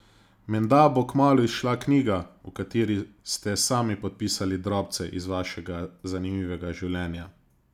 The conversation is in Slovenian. Menda bo kmalu izšla knjiga, v kateri ste sami popisali drobce iz vašega zanimivega življenja?